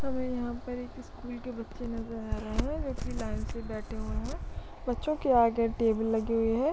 हमें यहाँ पर एक स्कूल के बच्चे नज़र आ रहे है जो की लाइन से बैठे हुए है बच्चे के आगे टेबल लगी हुई है।